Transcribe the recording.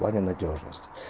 в плане надёжности